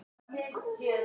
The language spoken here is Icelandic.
Líka er hægt að lesa þar